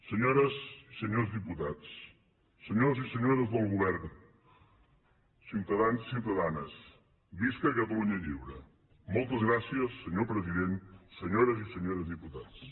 senyores i senyors diputats senyors i senyores del govern ciutadans i ciutadanes visca catalunya lliure moltes gràcies senyor president senyores i senyors diputats